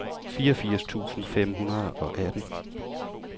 fireogfirs tusind fem hundrede og atten